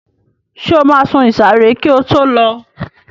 Ṣé o máa sun ìsàré kí o tó lọ?